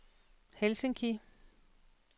Helsinki